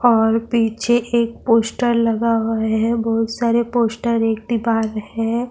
اور پیچھے ایک پوسٹر لگا ہوا ہے- بہت سارے پوسٹر اور ایک دیوار ہے -